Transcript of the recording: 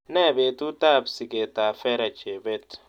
Nee betutap sigetap vera chebet